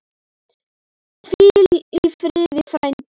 Hvíl í friði, frændi.